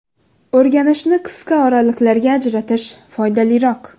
O‘rganishni qisqa oraliqlarga ajratish foydaliroq.